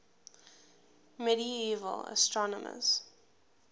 medieval astronomers